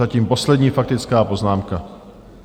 Zatím poslední faktická poznámka.